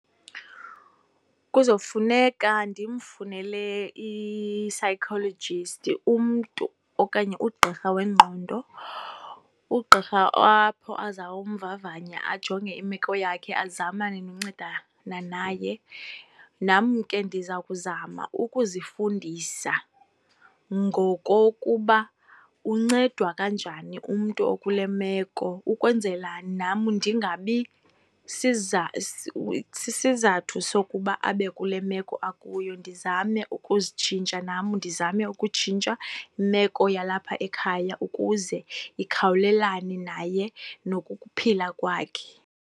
Kuzofuneka ndimfunele i-psychologist, umntu okanye ugqirha wengqondo. Ugqirha apho azawumvavanya ajonge imeko yakhe, azamane noncedana naye. Nam ke ndiza kuzama ukuzifundisa ngokokuba uncedwa kanjani umntu okule meko ukwenzela nam ndingabi sisizathu sokuba abe kule meko akuyo, ndizame ukuzitshintsha nam. Ndizame ukutshintsha imeko yalapha ekhaya ukuze ikhawulelana naye nokuphila kwakhe.